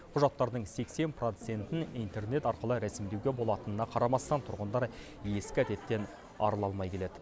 құжаттардың сексен процентін интернет арқылы рәсімдеуге болатынына қарамастан тұрғындар ескі әдеттен арыла алмай келеді